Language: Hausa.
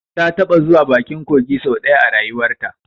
Ta taɓa zuwa bakin kogi sau ɗaya a rayuwarta